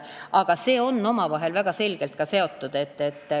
Aga need asjad on omavahel väga selgelt seotud.